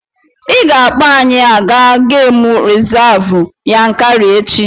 I ga-akpọ anyị aga gemụ rizavụ Yankari echi!